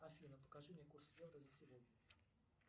афина покажи мне курс евро за сегодня